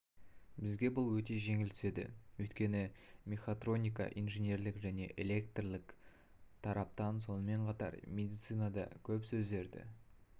бізге бұл өте жеңіл түседі өйткені мехатроника инженерлік және электрлік тараптан сонымен қатар медицинада көп сөздерді